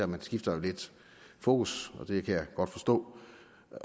man skifter fokus og det kan jeg godt forstå